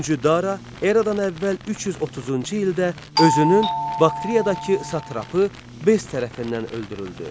Üçüncü Dara eramdan əvvəl 330-cu ildə özünün Bakteriyadakı satrapı Bess tərəfindən öldürüldü.